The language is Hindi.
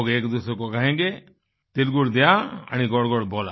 लोग एकदूसरे को कहेंगे तिल गुड घ्या आणि गोड़ गोड़ बोला